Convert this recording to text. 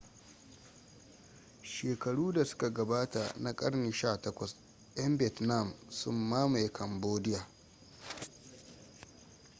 shekaru da suka gabata na karni 18 'yan vietnam sun mamaye cambodia